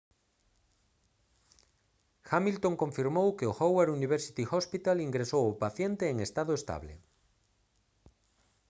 hamilton confirmou que o howard university hospital ingresou ao paciente en estado estable